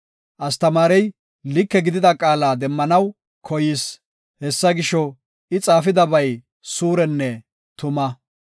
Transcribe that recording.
Astamaarey like gidida qaala demmanaw koyis; hessa gisho, I xaafidabay suurenne tuma.